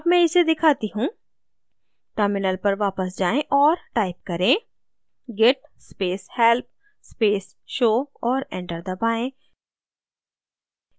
अब मैं इसे दिखाती हूँ terminal पर वापस जाएँ और type करें: git space help space show और enter दबाएँ